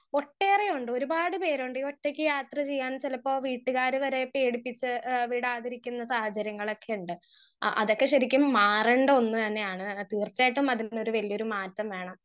Speaker 1 ഒട്ടേറെയുണ്ട് ഒരുപാട് പേരുണ്ട് ഈ ഒറ്റക്ക് യാത്ര ചെയ്യാൻ ചെലപ്പോ വീട്ടുകാര് വരെ പേടിപ്പിച്ച് എഹ് വിടാതിരിക്കുന്ന സാഹചര്യങ്ങളോക്കിണ്ട് ആ അതൊക്കെ ശരിക്കും മാറണ്ട ഒന്ന് തന്നയാണ് തീർച്ചായിട്ടും അതുമേ വല്യൊരു മാറ്റം വേണം.